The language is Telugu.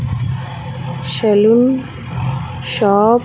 శేలున్ షాప్ .